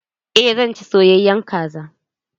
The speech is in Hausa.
Eh zan ci soyayen kaza.